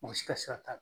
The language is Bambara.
U bɛ si ka sira t'a